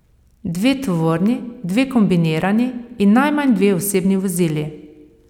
Dve tovorni, dve kombinirani in najmanj dve osebni vozili.